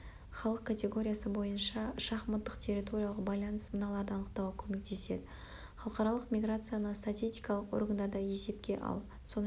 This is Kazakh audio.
халық категориясы бойынша шахматтық территориялық баланс мыналарды анықтауға көмектеседі халықаралық миграцияны статистикалық органдарда есепке ал сонымен